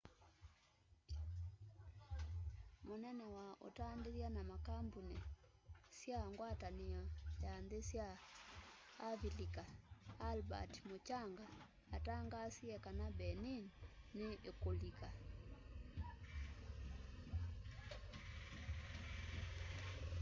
mũnene wa utandithya na makambuni sya ngwatanĩo ya nthĩ sya avilika albert muchanga atangaasie kana benin nĩ ĩkulika